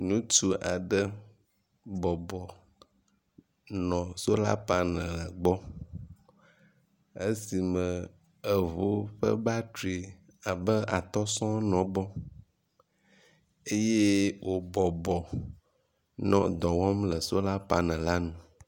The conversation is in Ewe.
Ŋutsu aɖe bɔbɔ nɔ sola paneli gbɔ esime eŋu ƒe batri abe atɔ̃ sɔ̃ɔ nɔ egbɔ eye wobɔbɔ nɔ dɔ wɔm le sola paneli la ŋu.